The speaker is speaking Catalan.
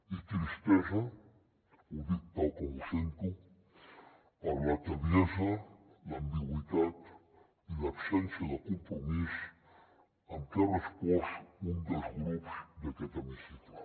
i tristesa ho dic tal com ho sento per la tebiesa l’ambigüitat i l’absència de compromís amb què ha respost un dels grups d’aquest hemicicle